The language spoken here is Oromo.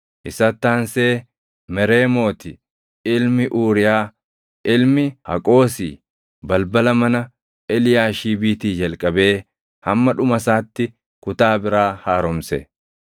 Isatti aansee Mereemooti ilmi Uuriyaa, ilmi Haqoosi balbala mana Eliyaashiibiitii jalqabee hamma dhuma isaatti kutaa biraa haaromse.